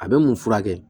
A bɛ mun furakɛ